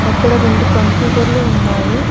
అక్కడ రెండు కంప్యూటర్లు ఉన్నాయి.